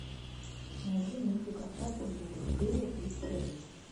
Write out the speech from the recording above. найди мультик остаться в живых серия тридцать один